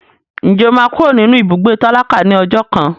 Ǹjẹ́ o máa kúrò nínú ibùgbé tálákà ní ọjọ́ kan?